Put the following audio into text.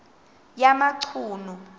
yamachunu